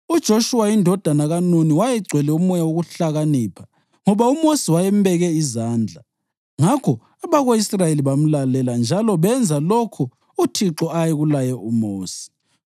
UJoshuwa indodana kaNuni wayegcwele umoya wokuhlakanipha ngoba uMosi wayembeke izandla. Ngakho abako-Israyeli bamlalela njalo benza lokho uThixo ayekulaye uMosi.